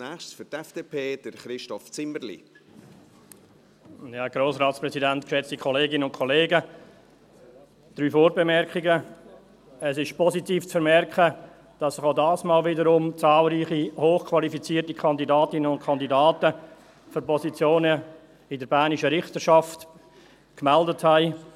Drei Vorbemerkungen: Es ist positiv zu vermerken, dass sich auch diesmal wieder zahlreiche hochqualifizierte Kandidatinnen und Kandidaten für Positionen in der bernischen Richterschaft gemeldet haben.